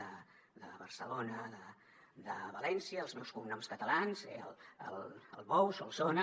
de barcelona de valència els meus cognoms catalans albou solsona